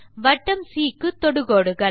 வட்டம் சி க்கு தொடுகோடுகள்